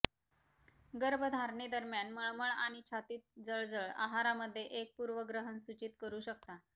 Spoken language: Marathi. गर्भधारणेदरम्यान मळमळ आणि छातीत जळजळ आहार मध्ये एक पूर्वग्रहण सूचित करू शकता